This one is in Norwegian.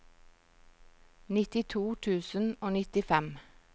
nittito tusen og nittifem